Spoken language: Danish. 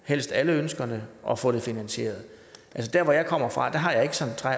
helst alle ønskerne og få det finansieret der hvor jeg kommer fra